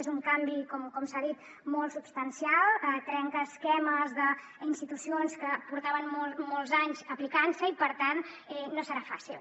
és un canvi com s’ha dit molt substancial trenca esquemes d’institucions que portaven molts anys aplicant se i per tant no serà fàcil